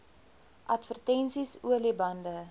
advertensies olie bande